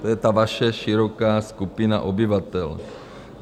To je ta vaše široká skupina obyvatel.